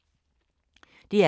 DR K